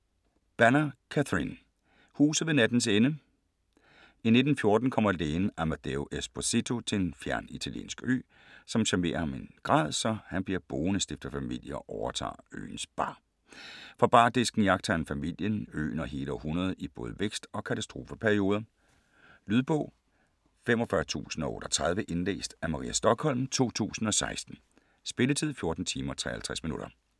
Banner, Catherine: Huset ved nattens ende I 1914 kommer lægen Amadeo Esposito til en fjern italiensk ø, som charmerer ham i en grad, så han bliver boende, stifter familie og overtager øens bar. Fra bardisken iagttager han familien, øen og hele århundredet i både vækst- og katastrofeperioder. Lydbog 45038 Indlæst af Maria Stokholm, 2016. Spilletid: 14 timer, 53 minutter.